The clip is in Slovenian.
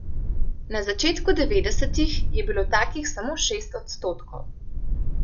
Na začetku devetdesetih je bilo takih samo šest odstotkov.